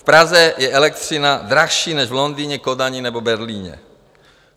V Praze je elektřina dražší než v Londýně, Kodani nebo Berlíně.